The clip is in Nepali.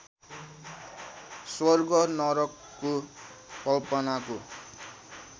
स्वर्ग नरकको कल्पनाको